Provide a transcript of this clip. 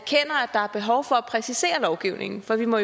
behov for at præcisere lovgivningen for vi må